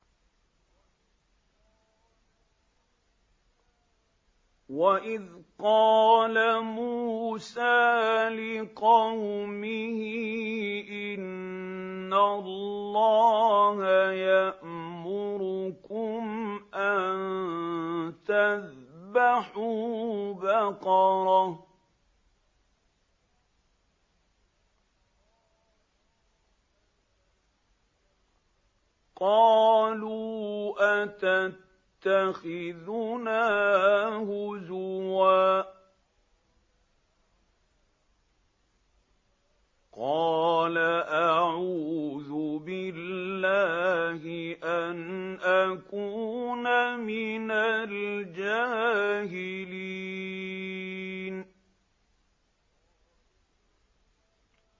وَإِذْ قَالَ مُوسَىٰ لِقَوْمِهِ إِنَّ اللَّهَ يَأْمُرُكُمْ أَن تَذْبَحُوا بَقَرَةً ۖ قَالُوا أَتَتَّخِذُنَا هُزُوًا ۖ قَالَ أَعُوذُ بِاللَّهِ أَنْ أَكُونَ مِنَ الْجَاهِلِينَ